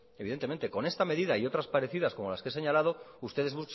evidentemente con esta medida y otras parecidas como las que he señalado ustedes